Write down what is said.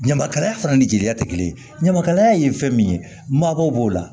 Ɲamakalaya fana ni jeliya tɛ kelen ye ɲamakalaya ye fɛn min ye mabaw b'o la